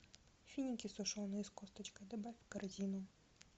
финики сушеные с косточкой добавь в корзину